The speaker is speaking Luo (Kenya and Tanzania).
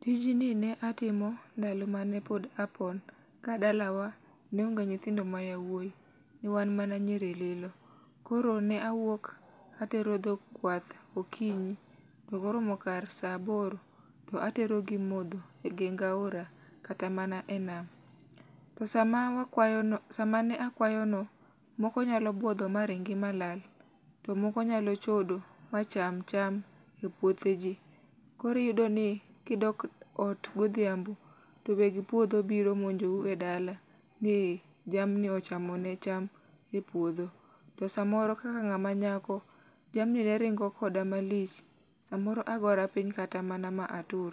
Tijni ne atimo ndalo mane pod apon ka dalawa, ne onge nyithindo ma yowuoyi. Wan mana nyiri lilo. Koro ne awuok atero dhok kwath gokinyi to koromo saa aboro, to aterogi modho e geng aora kata mana e nam to sama akwayo samane akwayono, moko nyalo buodho maringi malal, to moko nyalo chodo ma cham cham epuotheji. Koro iyudo ni ka idok ot godhiambo, to weg puodho biro monjou e dala, jamni ochamo ne cham e puodho. To samoro kaka ng'ama nyako, jamni ne ringo koda malich. Samoro agora kata piny ma atur.